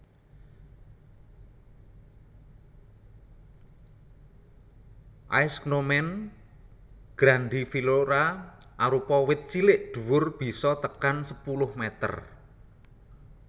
Aeschynomene grandiflora arupa wit cilik dhuwur bisa tekan sepuluh meter